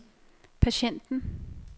patienten